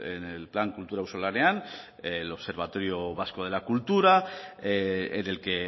en el plan kultura auzolanean el observatorio vasco de la cultura en el que